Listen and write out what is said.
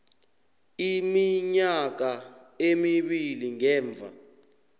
iminyaka emibili ngemva